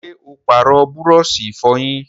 ṣé ó pàrọ̀ búrọ̀sì ìfọyín?